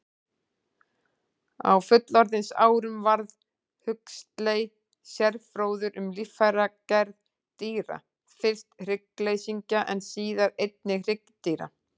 Á fullorðinsárum varð Huxley sérfróður um líffæragerð dýra, fyrst hryggleysingja en síðar einnig hryggdýra.